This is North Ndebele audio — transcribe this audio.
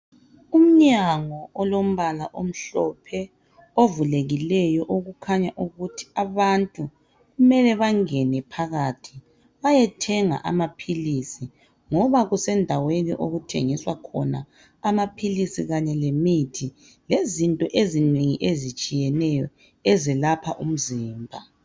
Umnyango olombala omhlophe ovulekileyo okukhanya ukuthi abantu kumele bangene phakathi bayethenga amaphilisi ngoba kusendaweni okuthengiswa khona amaphilisi kanye lemithi lezinto ezinengi ezitshiyeneyo ezelapha umzimba.